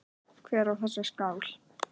Hver á þessa skál?